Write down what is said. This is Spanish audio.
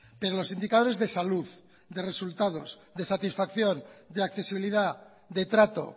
pero los indicadores de salud de resultados de satisfacción de accesibilidad de trato